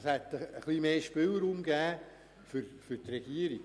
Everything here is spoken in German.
Damit hätte die Regierung einen grösseren Spielraum gehabt.